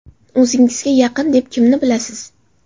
O‘zingizga yaqin deb kimni bilasiz?